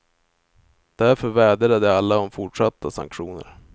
Därför vädjade de alla om fortsatta sanktioner.